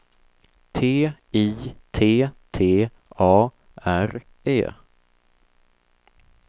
T I T T A R E